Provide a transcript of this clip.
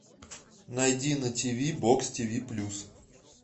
найди на тв бокс тв плюс